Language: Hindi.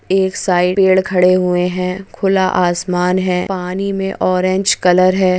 एक साइड पेड़ खड़े हुए हैं एक साइड खड़े हुए हैं खुला आसमान है पानी में ऑरेंज कलर है।